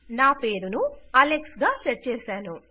నా పేరును అలెక్స్ గా సెట్ చేసాను